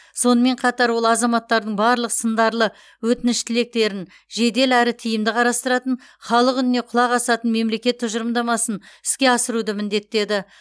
сонымен қатар ол азаматтардың барлық сындарлы өтініш тілектерін жедел әрі тиімді қарастыратын халық үніне құлақ асатын мемлекет тұжырымдамасын іске асыруды міндеттеді